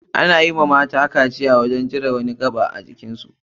Ana yi wa matane kaciya ta cire musu wani gaɓa ajikin su.